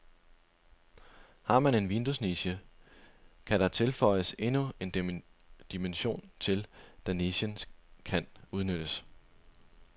Har man en vinduesniche, kan der føjes endnu en dimension til, da nichen kan udnyttes.